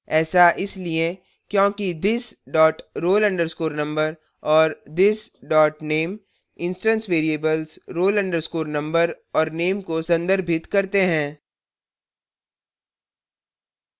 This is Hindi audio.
ऐसा इसलिए क्योंकि this dot roll _ number और this dot name instance variables roll _ number और name को संदर्भित करते हैं